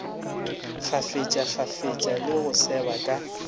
kgafetšakgafetša le go seba ka